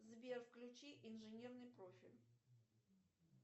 сбер включи инженерный профиль